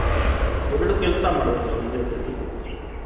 ಎರಡ್ ಕೆಲ್ಸ ಮಾಡ್ದಂಗೆ ಒಂದೇ ಸತಿ